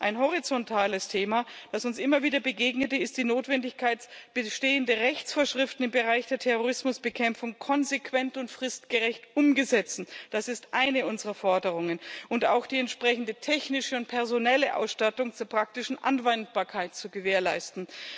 Ein horizontales Thema, das uns immer wieder begegnete, ist die Notwendigkeit, bestehende Rechtsvorschriften im Bereich der Terrorismusbekämpfung konsequent und fristgerecht umzusetzen das ist eine unserer Forderungen und auch die entsprechende technische und personelle Ausstattung zur praktischen Anwendbarkeit zu gewährleisten.